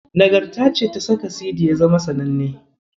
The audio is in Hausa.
Nagarta ce ta saka Sidi ya zama sananne.